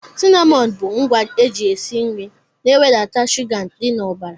Cinamọn bụ ngwa eji esi nri na e wedata shuga dị n'ọbara.